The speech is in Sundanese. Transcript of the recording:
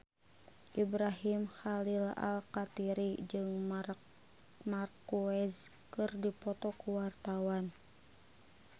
Ibrahim Khalil Alkatiri jeung Marc Marquez keur dipoto ku wartawan